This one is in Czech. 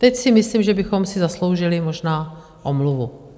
Teď si myslím, že bychom si zasloužili možná omluvu.